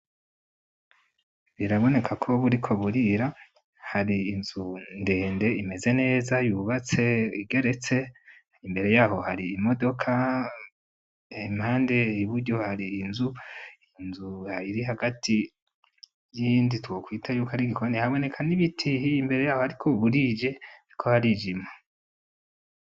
Biraboneka ko buriko burira. Hari inzu ndende imeze neza yubatse igeretse. Imbere yaho hari imodoka, impande iburyo hari inzu. Inzu ihari iri hagati y'iyindi twokwita yuko ari igikoni. Haboneka n'ibiti imbere yaho ariko burije, hariko harijima.